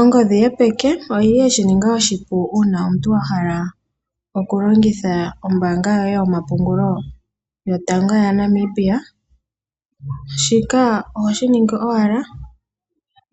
Ongodhi yopeke oyili yeshininga oshipu uuna omuntu a hala oku longitha ombaanga yoye yomapungulo yotango ya Namibia, shika ohoshi ningi owala